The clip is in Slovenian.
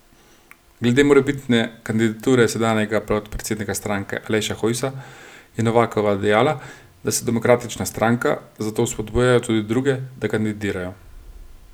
Glede morebitne kandidature sedanjega podpredsednika stranke Aleša Hojsa je Novakova dejala, da so demokratična stranka, zato vzpodbujajo tudi druge, da kandidirajo.